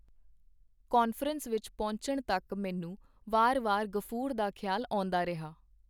Conference ਵਿੱਚ ਪਹੁੰਚਣ ਤਕ ਮੈਨੂੰ ਵਾਰ ਵਾਰ ਗ਼ਫੂਰ ਦਾ ਖ਼ਿਆਲ ਆਉਂਦਾ ਰਿਹਾ.